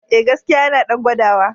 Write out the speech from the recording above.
E, gaskiya yana ɗan gwadawa.